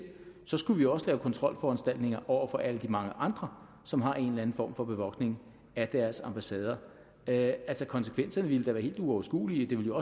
så skulle vi også lave kontrolforanstaltninger over for alle de mange andre som har en eller anden form for bevogtning af deres ambassader altså konsekvenserne ville da være helt uoverskuelige det ville